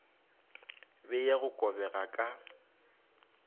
be ya go kobega ka